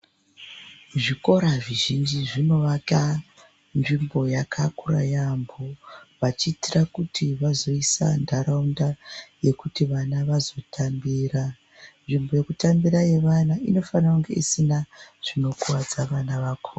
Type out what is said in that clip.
Zvikora zvizhinji zvinovaka nzvimbo yakakura yaambo vachiitira kuti vazoisa ntaraunda yekuti vana vazotambira. Nzvimbo yekutambira yevana inofanire kunge isina zvinokuvadza vana vakona.